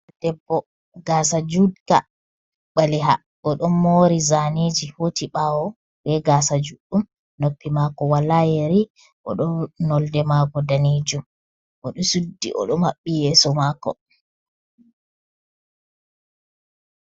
Debbo gasa judka, ɓaleha o don mori zaniji hoti bawo. Be gasa juddum noppi mako wala yeri o do nolde mako danijum odo suddi odo mabbi yeso mako.